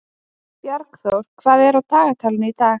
Bjargþór, hvað er á dagatalinu í dag?